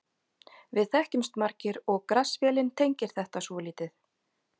Við þekkjumst margir og Grass-vélin tengir þetta svolítið.